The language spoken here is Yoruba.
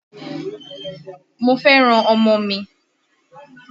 Mo fẹ́ràn ọmọ mi